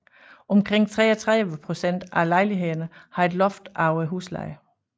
Omkring 33 procent af lejlighederne har et loft over huslejen